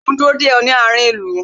Mo ń dúró de ọ, ní àárín ìlú